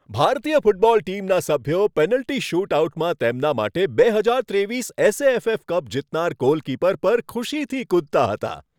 ભારતીય ફૂટબોલ ટીમના સભ્યો પેનલ્ટી શૂટઆઉટમાં તેમના માટે બે હજાર ત્રેવીસ એસએએફએફ કપ જીતનાર ગોલકીપર પર ખુશીથી કૂદતા હતા.